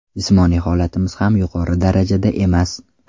Jismoniy holatimiz ham yuqori darajada emas.